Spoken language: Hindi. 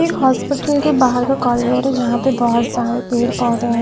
एक हॉस्पिटल के बाहर का कॉरीडोर है जहां पर बहुत सारे पेड़-पौधे हैं।